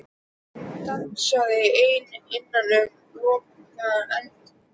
Hún dansaði ein innan um logandi eldhnetti.